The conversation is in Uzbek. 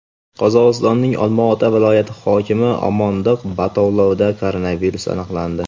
Qozog‘istonning Olmaota viloyati hokimi Omondiq Batalovda koronavirus aniqlandi.